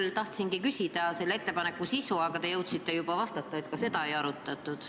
Ma tahtsingi küsida selle ettepaneku sisu kohta, aga te jõudsite juba vastata, et ka seda ei arutatud.